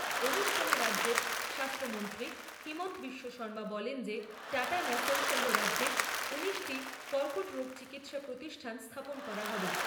অনুষ্ঠানে রাজ্যের স্বাস্থ্যমন্ত্রী হিমন্ত বিশ্ব শর্মা বলেন যে টাটা ন্যাসের সহ রাজ্যে উনিশটি কর্কট রোগ চিকিৎসা প্রতিষ্ঠান স্থাপন করা হবে।